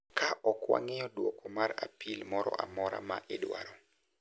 Ka ok wang'iyo duoko mar apil moro amora ma idwaro,